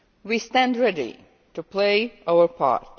We stand ready to play our part.